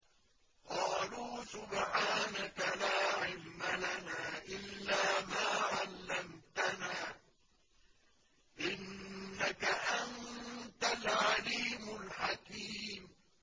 قَالُوا سُبْحَانَكَ لَا عِلْمَ لَنَا إِلَّا مَا عَلَّمْتَنَا ۖ إِنَّكَ أَنتَ الْعَلِيمُ الْحَكِيمُ